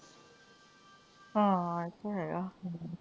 ਹਾਂ ਇਹ ਤੇ ਹੈ ਆ।